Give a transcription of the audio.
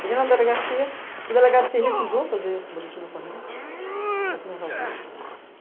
Cheguei na delegacia, o delegado se recusou a fazer o boletim de ocorrência, falou que não ia fazer.